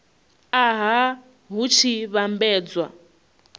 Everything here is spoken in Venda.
a nha hu tshi vhambedzwa